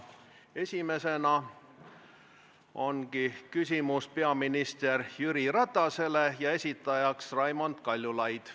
Esimene küsimus ongi peaminister Jüri Ratasele ja selle esitab Raimond Kaljulaid.